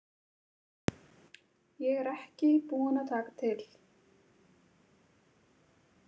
Ég er ekki búin að taka til.